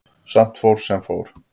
Samt fór sem fór.